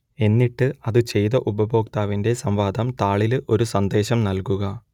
എന്നിട്ട് അത് ചെയ്ത ഉപയോക്താവിന്റെ സംവാദം താളിൽ ഒരു സന്ദേശം നൽകുക